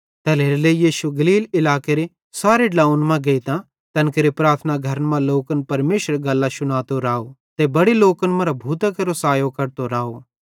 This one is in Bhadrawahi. तैल्हेरेलेइ यीशु गलील इलाकेरे सारे ड्लोंव्वन मां गेइतां तैन केरे प्रार्थना घरन मां लोकन परमेशरेरी गल्लां शुनातो राव ते बड़े लोकन मरां भूतां केरो सायो कढतो राव